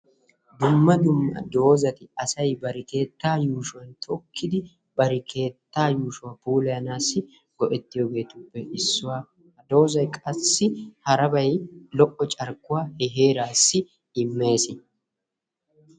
Dumma dumma doozati asaybar keettaa yuushshuwan tokkidi, bar keettaa yushuwaa puulayanaw go''ettiyoogeetuppe issuwaa. Doozay qassi harabay lo''o carkkuwa he heerassi immees.